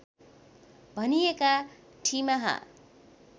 भनिएका ठिमाहा